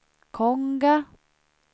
Konga